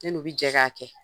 Ne n’u bi jɛ ka kɛ